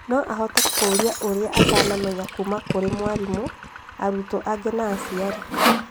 No ahote kũũria ũrĩa atanamenya kuma kwĩ mwarimũ, arutwo angĩ na aciari